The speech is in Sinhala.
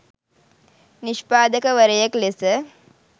නිෂ්පාදකවරයෙක් ලෙස